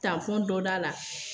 Taafɔn dɔ da la.